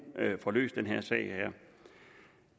får løst